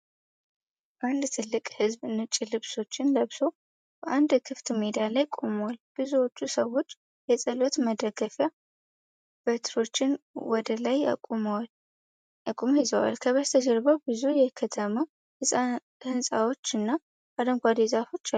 አንድ ትልቅ ሕዝብ ነጭ ልብሶችን ለብሶ በአንድ ክፍት ሜዳ ላይ ቆሟል። ብዙዎቹ ሰዎች የጸሎት መደገፊያ በትሮችን ወደ ላይ አቅጣጫ ይዘዋል። ከበስተጀርባ ብዙ የከተማ ሕንፃዎች እና አረንጓዴ ዛፎች አሉ።